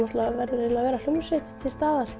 verður að vera hljómsveit til staðar